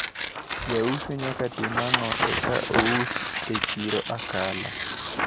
Jauso nyaka tim ang`o mondo eka ousi e chiro Akala?